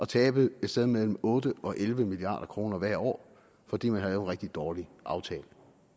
tabe et sted mellem otte og elleve milliard kroner hvert år fordi man havde lavet en rigtig dårlig aftale